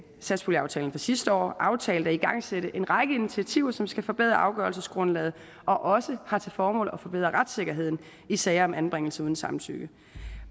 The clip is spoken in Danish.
satspuljeaftalen sidste år aftalte at igangsætte en række initiativer som skal forbedre afgørelsesgrundlaget og også har til formål at forbedre retssikkerheden i sager om anbringelse uden samtykke